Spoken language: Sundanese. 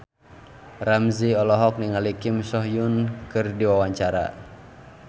Ramzy olohok ningali Kim So Hyun keur diwawancara